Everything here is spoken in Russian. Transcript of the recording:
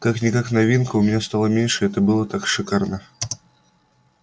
как-никак новинка и у меня стало меньше это было так шикарно